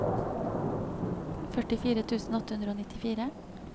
førtifire tusen åtte hundre og nittifire